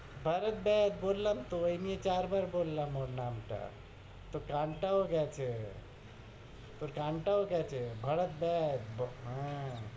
ভরত দেব, বললাম তো, এই নিয়ে চার বার বললাম ওর নামটা। তোর কানটাও গেছে। তোর কানটাও গেছে। ভরত দেব। হ্যাঁ।